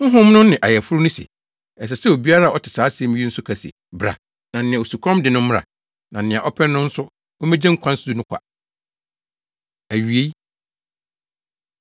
Honhom no ne ayeforo no se, “Ɛsɛ sɛ obiara a ɔte saa asɛm yi nso ka se, ‘Bra!’ Na nea osukɔm de no no mmra, na nea ɔpɛ no nso, ommegye nkwa nsu no kwa.” Awiei